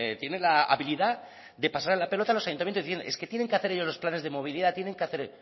tiene la habilidad de pasarles la pelota a los ayuntamientos diciendo es que tienen que hacer ellos los planes de movilidad tienen que hacer